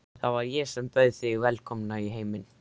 Það var ég sem bauð þig velkomna í heiminn.